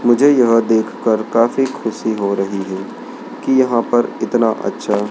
मुझे यह देखकर काफी खुशी हो रही है कि यहां पर इतना अच्छा--